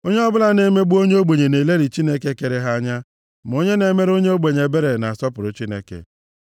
Onye ọbụla na-emegbu onye ogbenye na-elelị Chineke kere ha anya, ma onye na-emere onye ogbenye ebere na-asọpụrụ Chineke.